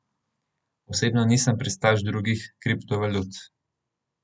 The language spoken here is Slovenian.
Osebno nisem pristaš drugih kriptovalut.